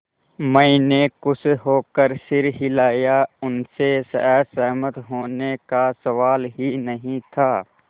मैंने खुश होकर सिर हिलाया उनसे असहमत होने का सवाल ही नहीं था